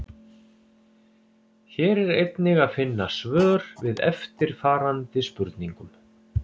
Hér er einnig að finna svör við eftirfarandi spurningum: